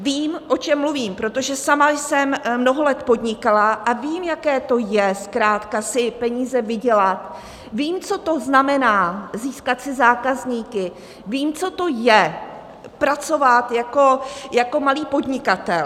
Vím, o čem mluvím, protože sama jsem mnoho let podnikala a vím, jaké to je zkrátka si peníze vydělat, vím, co to znamená získat si zákazníky, vím, co to je pracovat jako malý podnikatel.